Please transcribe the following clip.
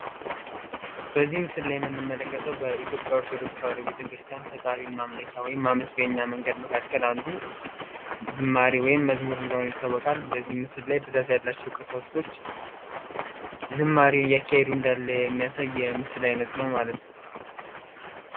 በዚህ ላይ የምንመለከተው የኢትዮጵያ ኦርቶዶክስ ቤተ ክርስቲያን ፈጣሪ ማምለኪያ እና ማመስገኛ መንገድ አንዱ ዝማሬ ወይም መዝሙር እንደሆነ ይታወቃል ለዚህም ብዛት ያላቸው ቀሳውስቶች ዝማሬ እያካሄዱ እንዳለ የሚያሳይ ምስል አይነት ነው ማለት ነው።